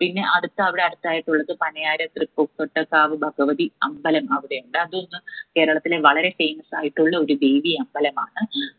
പിന്നെ അടുത്ത അവിടെ അടുത്തായിട്ടുള്ളത് പനയാരത്ത്‌ തൃപ്പൂർകോട്ട കാവ് ഭഗവതി അമ്പലം അവിടെയുണ്ട്. അത് ഒന്ന് കേരളത്തില് വളരെ famous ആയിട്ടുള്ള ഒരു ദേവി അമ്പലമാണ്